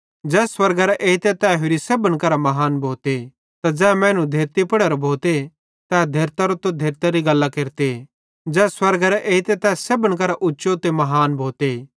मसीह ज़ै स्वर्गेरां एइते तै होरि सेब्भन करां महान भोते त ज़ै मैनू धेरती पुड़ेरां भोते तै धेर्तारोए त धेर्तारी गल्लां केरते ज़ै स्वर्गेरां एइते तै सेब्भना उच्चो महान भोते